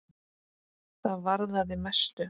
Það varðaði mestu.